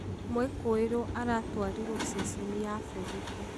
mũĩkũũirwo aratwarirwo cecenĩ ya borithi